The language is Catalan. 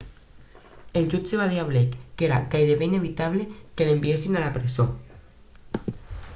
el jutge va dir a blake que era gairebé inevitable que l'enviessin a la presó